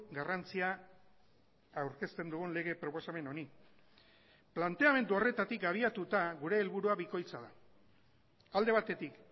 garrantzia aurkezten dugun lege proposamen honi planteamendu horretatik abiatuta gure helburua bikoitza da alde batetik